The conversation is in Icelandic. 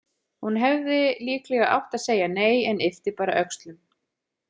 Hún hefði líklega átt að segja nei en yppti bara öxlum.